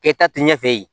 Kɛta tɛ ɲɛ fɛ yen